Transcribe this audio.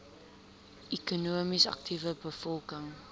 ekonomies aktiewe bevolking